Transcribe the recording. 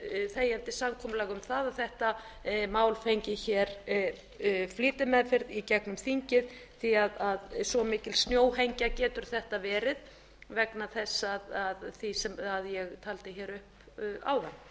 þegjandi samkomulag um að þetta mál fengi flýtimeðferð í gegnum þingið því svo mikil snjóhengja getur þetta verið vegna þess sem ég taldi upp áðan